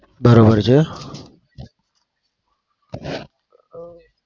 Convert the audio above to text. બરોબર છે.